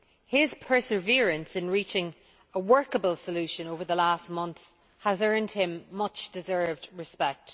His perseverance in reaching a workable solution over the last months has earned him much deserved respect.